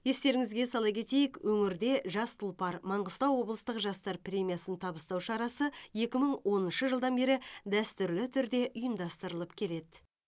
естеріңізге сала кетейік өңірде жас тұлпар маңғыстау облыстық жастар премиясын табыстау шарасы екі мың оныншы жылдан бері дәстүрлі түрде ұйымдастырылып келеді